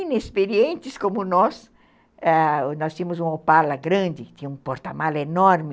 Inexperientes como nós, ãh, nós tínhamos uma opala grande, tinha um porta-malas enorme,